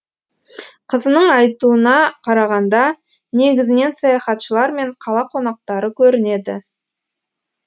қызының айтуына қарағанда негізінен саяхатшылар мен қала қонақтары көрінеді